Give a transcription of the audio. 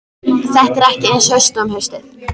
Þetta er ekki eins haust og um haustið.